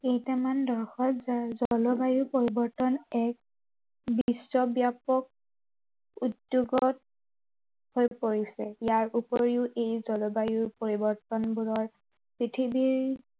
কেইটামান দশক জলবায়ু পৰিৱৰ্তন এক বিশ্ব ব্য়াপক, উদ্য়োগত, হৈ পৰিছে। ইয়াৰ উপৰিও ই জলবায়ু পৰিৱৰ্তনবোৰৰ, পৃথিৱীৰ